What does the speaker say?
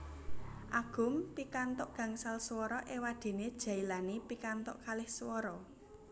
Agum pikantuk gangsal swara éwadéné Djailani pikantuk kalih swara